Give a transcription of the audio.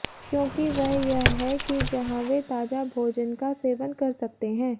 क्योंकि वह यह है कि जहां वे ताजा भोजन का सेवन कर सकते हैं